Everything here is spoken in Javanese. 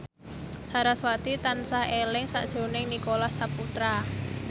sarasvati tansah eling sakjroning Nicholas Saputra